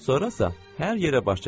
Sonrasa hər yerə baş çəkərik.